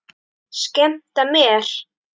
Skemmta mér?